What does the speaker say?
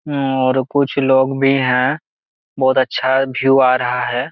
और कुछ लोग भी है बहुत अच्छा भीयू रहा है।